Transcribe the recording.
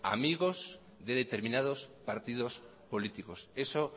amigos de determinados partidos políticos eso